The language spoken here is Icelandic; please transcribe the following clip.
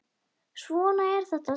Svona er þetta samt.